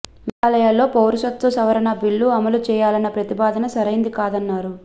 మేఘాలయలో పౌరసత్వ సవరణ బిల్లు అమలు చేయాలన్న ప్రతిపాదన సరైంది కాదన్నారు